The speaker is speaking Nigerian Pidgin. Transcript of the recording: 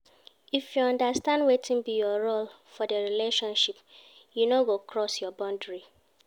If you understand wetin be your role for di relationship you no go cross your boundary